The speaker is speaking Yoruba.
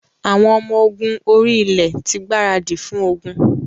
Àwọn ọmọ ogun orí-ilẹ̀ ti gbaradì fún ogun.